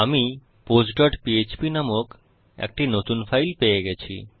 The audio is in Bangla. আমি postপিএচপি নামক একটি নতুন ফাইল পেয়ে গেছি